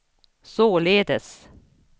således